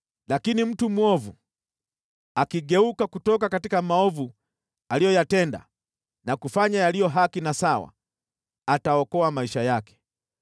Lakini mtu mwovu akigeuka kutoka maovu aliyoyatenda na kufanya yaliyo haki na sawa, ataokoa maisha yake.